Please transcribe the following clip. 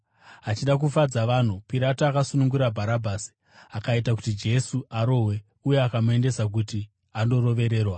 Achida kufadza vanhu, Pirato akasunungura Bharabhasi. Akaita kuti Jesu arohwe, uye akamuendesa kuti andorovererwa.